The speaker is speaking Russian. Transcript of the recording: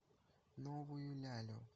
новую лялю